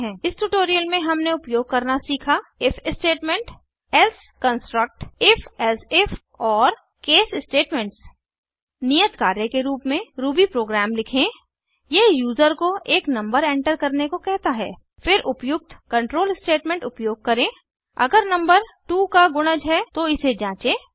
इस ट्यूटोरियल में हमने उपयोग करना सीखा if statement else construct if elsif और केस स्टेटमेंट्स नियत कार्य के रूप में रूबी प्रोग्राम लिखें यह यूजर को एक नंबर एंटर करने को कहता है फिर उपयुक्त control स्टेटमेंट उपयोग करें अगर नंबर 2 का गुणज है तो इसे जाँचें